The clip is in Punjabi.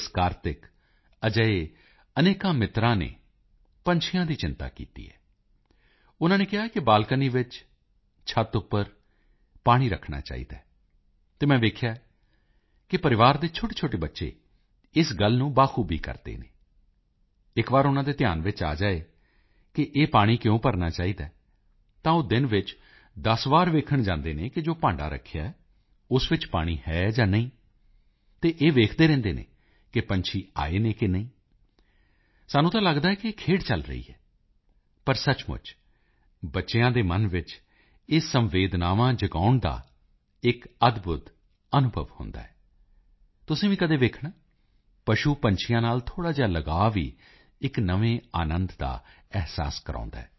ਕਾਰਤਿਕ ਅਜਿਹੇ ਅਨੇਕਾਂ ਮਿੱਤਰਾਂ ਨੇ ਪੰਛੀਆਂ ਦੀ ਚਿੰਤਾ ਕੀਤੀ ਹੈ ਉਨਾਂ ਨੇ ਕਿਹਾ ਹੈ ਕਿ ਬਾਲਕਨੀ ਵਿੱਚ ਛੱਤ ਉੱਪਰ ਪਾਣੀ ਰੱਖਣਾ ਚਾਹੀਦਾ ਹੈ ਅਤੇ ਮੈਂ ਵੇਖਿਆ ਹੈ ਕਿ ਪਰਿਵਾਰ ਦੇ ਛੋਟੇਛੋਟੇ ਬੱਚੇ ਇਸ ਗੱਲ ਨੂੰ ਬਾਖੂਬੀ ਕਰਦੇ ਹਨ ਇਕ ਵਾਰੀ ਉਨਾਂ ਦੇ ਧਿਆਨ ਵਿੱਚ ਆ ਜਾਵੇ ਕਿ ਇਹ ਪਾਣੀ ਕਿਉਂ ਭਰਨਾ ਚਾਹੀਦਾ ਹੈ ਤਾਂ ਉਹ ਦਿਨ ਵਿੱਚ 10 ਵਾਰ ਵੇਖਣ ਜਾਂਦੇ ਹਨ ਕਿ ਜੋ ਭਾਂਡਾ ਰੱਖਿਆ ਹੈ ਉਸ ਵਿੱਚ ਪਾਣੀ ਹੈ ਜਾਂ ਨਹੀਂ ਅਤੇ ਵੇਖਦੇ ਰਹਿੰਦੇ ਹਨ ਕਿ ਪੰਛੀ ਆਏ ਹਨ ਜਾਂ ਨਹੀਂ ਸਾਨੂੰ ਤਾਂ ਲੱਗਦਾ ਹੈ ਕਿ ਇਹ ਖੇਡ ਚੱਲ ਰਹੀ ਹੈ ਪਰ ਸਚਮੁੱਚ ਵਿੱਚ ਬੱਚਿਆਂ ਦੇ ਮਨ ਵਿੱਚ ਇਹ ਸੰਵੇਦਨਾਵਾਂ ਜਗਾਉਣ ਦਾ ਇਕ ਅਦਭੁਦ ਅਨੁਭਵ ਹੁੰਦਾ ਹੈ ਤੁਸੀਂ ਵੀ ਕਦੇ ਵੇਖਣਾ ਪਸ਼ੂਪੰਛੀਆਂ ਨਾਲ ਥੋੜਾ ਜਿਹਾ ਲਗਾਓ ਵੀ ਇਕ ਨਵੇਂ ਆਨੰਦ ਦਾ ਅਹਿਸਾਸ ਕਰਾਉਂਦਾ ਹੈ